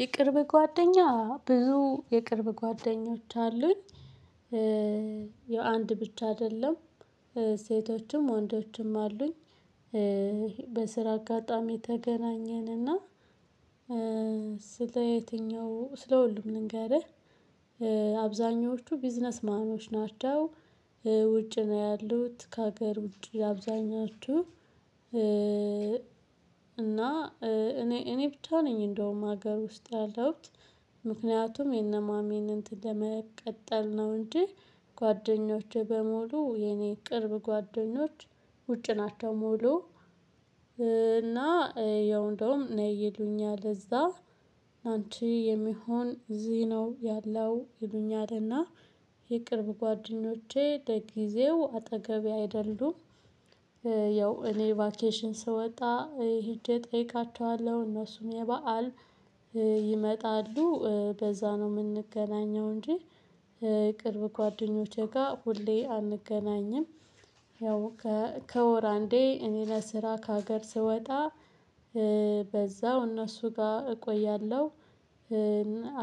የቅርብ ጓደኛ ብዙ የቅርብ ጓደኞች አሉኝ። የአንድ ብቻ አይደለም። ሴቶችም ወንዶችም አሉኝ። በስራ አጋጣሚ ተገናኘንና ስለ የትኛው ስለ ሁሉም ልንገርህ። አብዛኞቹ ቢዝነስ ማኖች ናቸው። ውጭ ነው ያሉት ከሀገር ውጪ አብዛኞቹ እና እኔ እኔ ብቻ ነኝ እንደውም ሀገር ውስጥ ያለሁት። ምክንያቱም የነማሚን እንትን ለመቀጠል ነው እንጂ ጓደኞቼ በሙሉ የኔ ቅርብ ጓደኞች ውጭ ናቸው ሙሉ እና ያው እንደውም ነይ ይሉኛል እዛ አንቺ የሚሆን እዚህ ነው ያለው ይሉኛልና የቅርብ ጓደኞቼ ለጊዜው አጠገቤ አይደሉም። ያው እኔ ቫኬሽን ስወጣ ሄጄ እጠይቃቸዋለሁ። እነሱም የበአል ይመጣሉ በዛ ነው የምንገናኘው እንጂ ቅርብ ጓደኞቼ ጋር ሁሌ አንገናኝም። ያው ከወር አንዴ እኔ ለስራ ከሀገር ስወጣ በዛው እነሱ ጋር እቆያለሁ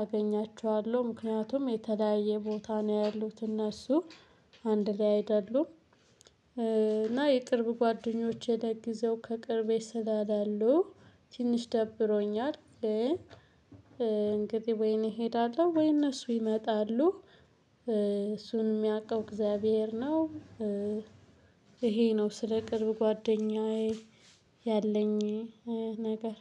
አገኛቸዋለሁ። ምክንያቱም የተለያየ ቦታ ነው ያሉት እነሱ። አንድ ላይ አይደሉም እና የቅርብ ጓደኞቼ ለጊዜው ከቅርቤ ስለሌሉ ትንሽ ደብሮኛል ግን እንግዲህ ወይ እኔ እሄዳለሁ ወይ እነሱ ይመጣሉ። እሱን የሚያውቀው እግዚአብሔር ነው። ይሄ ነው ስለ ቅርብ ጓደኛዬ ያለኝ ነገር።